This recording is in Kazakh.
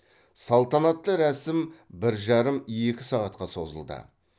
салтанатты рәсім бір жарым екі сағатқа созылды